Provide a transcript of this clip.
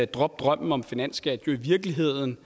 drop drømmen om finansskat i virkeligheden